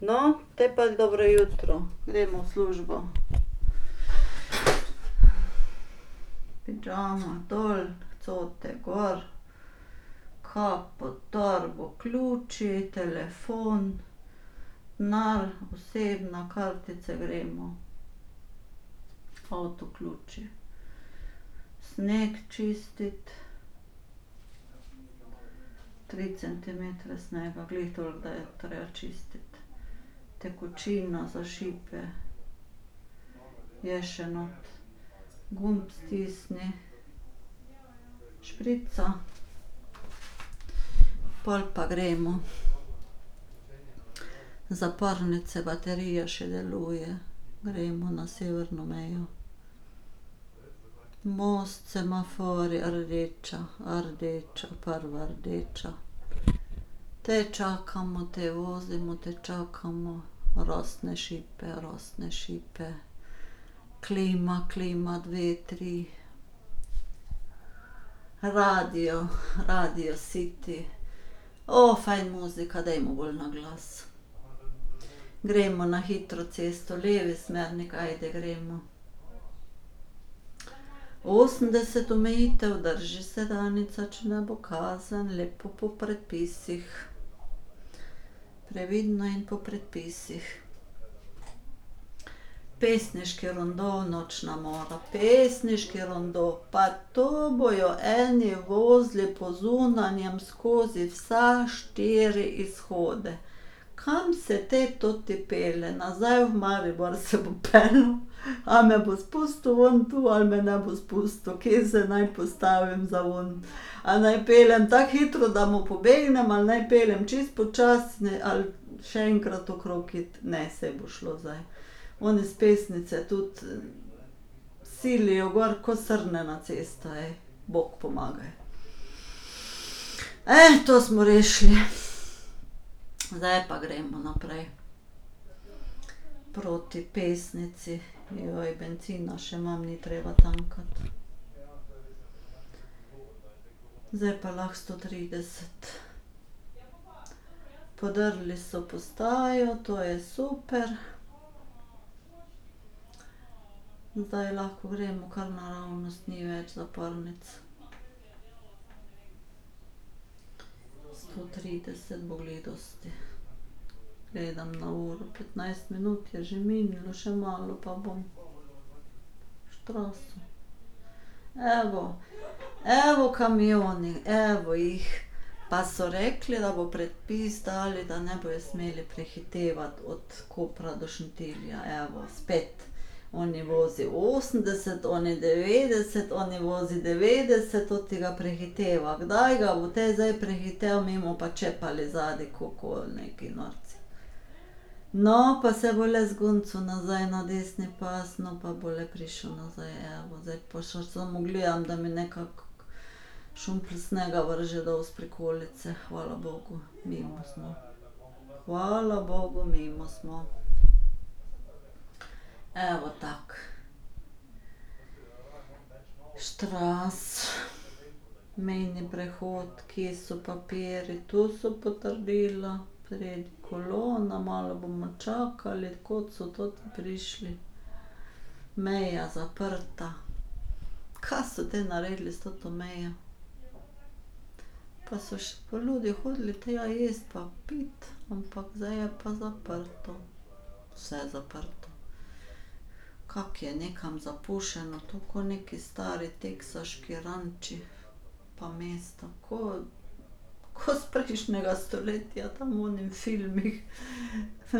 No, te pa dobro jutro, gremo v službo. Pižamo dol, cote gor ... Kapo, torbo, ključi, telefon, denar, osebno, kartice, gremo. Avtoključi, sneg čistiti ... Tri centimetre snega, glih toliko, da je treba čistiti. Tekočina za šipe je še not. Gumb stisni, šprica, pol pa gremo. Zapornice, baterije še deluje, gremo na severno mejo ... Most, semaforji, rdeča, rdeča, prva rdeča. Te čakamo, te vozimo, te čakamo, rosne šipe, rosne šipe, klima, klima, dve, tri. Radio, Radio City, fajn muzika, dajmo bolj na glas. Gremo na hitro cesto, levi smernik, ajde, gremo. Osemdeset omejitev, drži se, Danica, če ne bo kazen, lepo po predpisih. Previdno in po predpisih. Pesniški rondo, nočna mora. Pesniški rondo, pa tu bojo eni vozili po zunanjem skozi vse štiri izhode. Kam se te toti pelje, nazaj v Maribor se bo peljal, a me bo spustil ven tu ali me ne bo spustil, kje se naj postavim za ven. A naj peljem tako hitro, da mu pobegnem ali naj peljem čisto počasni ali še enkrat okrog iti, ne, saj bo šlo zdaj. Oni s Pesnice tudi silijo gor ko srne na cesto, ej, bog pomagaj. to smo rešili. Zdaj pa gremo naprej. Proti Pesnici. Joj, bencina še nam ni treba tankati. Zdaj pa lahko sto trideset. Podrli so postajo, to je super ... Zdaj lahko gremo kar naravnost, ni več zapornic. Sto trideset bo glih dosti ... Gledam na uro, petnajst minut je že minilo, še malo, pa bo. Straß. Evo. Evo kamioni, evo jih. Pa so rekli, da bo predpis dali, da ne bojo smeli prehitevati od Kopra do Šentilja, evo, spet. Oni vozi osemdeset, oni devetdeset, oni vozi devetdeset, ta ga prehiteva. Kdaj ga bo te zdaj prehitel, mi bomo pa čepali zadaj koku neki norci. No, pa se bo le zguncal nazaj na desni pas, no, pa bo le prišel nazaj, evo. Zdaj povsod samo gledam, da mi nekako snega vrže dol s prikolice, hvala bogu, mimo smo. Hvala bogu, mimo smo. Evo, tako. Straß. Mejni prehod, kje so papirji, tu so potrdila, spredaj kolona, malo bomo čakali, kod so toti prišli. Meja zaprta, kaj so te naredili s to mejo. Pa so še pa ljudje hodili tja jesti pa piti, ampak zdaj je pa zaprto. Vse zaprto. Kako je nekam zapuščeno to, ko neki stari teksaški ranči pa mesta. Ko, ko s prejšnjega stoletja, tam v onih filmih.